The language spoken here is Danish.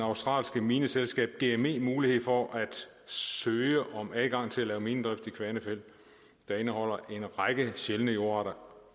australske mineselskab gme mulighed for at søge om adgang til at lave minedrift i kvanefjeld der indeholder en række sjældne jordarter